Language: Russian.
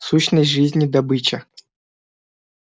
сущность жизни добыча